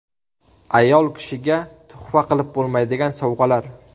Ayol kishiga tuhfa qilib bo‘lmaydigan sovg‘alar.